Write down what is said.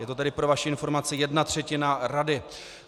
Je to tedy pro vaši informaci jedna třetina rady.